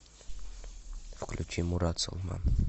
включи мурат салман